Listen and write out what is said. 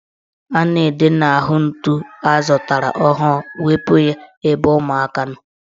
A na-ede n'ahụ ntu azụtara ọhụrụ ''Wepu ya ebe ụmụaka nọ"